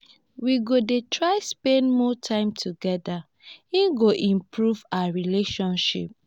we go dey try spend more time togeda e go improve our relationship.